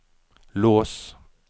lås